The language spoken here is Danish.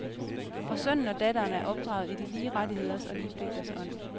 Og sønnen og datteren er opdraget i de lige rettigheders og lige pligters ånd.